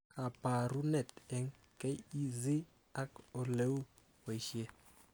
Kabarunet eng KEC ak oleu boishet